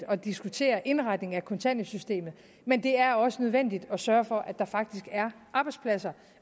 at diskutere indretningen af kontanthjælpssystemet men det er også nødvendigt at sørge for at der faktisk er arbejdspladser